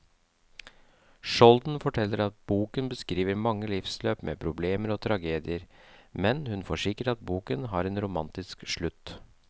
Skjolden forteller at boken beskriver mange livsløp med problemer og tragedier, men hun forsikrer at boken har en romantisk slutt.